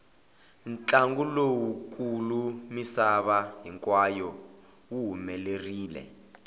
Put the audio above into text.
ntlangu lowu kulu misava hinkwayo wu humelerile